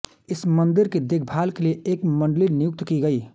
इस मंदिर की देखभाल के लिए एक मंडली नियुक्त की गई